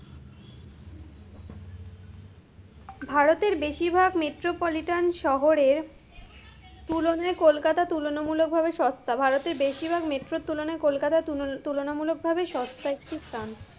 ভারতের বেশিরভাগ metropolitan শহরের, তুলনায় কলকাতায় তুলনামূলকভাবে সস্তা, ভারতের বেশরভাগ metro তুলনায় কলকাতা তুলন~ তুলনামূলকভাবে সস্তা একটি স্থান,